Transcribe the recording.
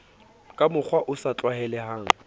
ka mokgwa o sa tlwaelehang